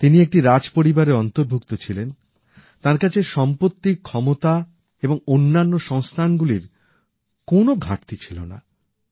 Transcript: তিনি একটি রাজপরিবারের অন্তর্ভুক্ত ছিলেন তাঁর কাছে সম্পত্তি ক্ষমতা এবং অন্যান্য সংস্থানগুলির কোনও ঘাটতি ছিল না